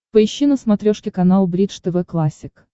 поищи на смотрешке канал бридж тв классик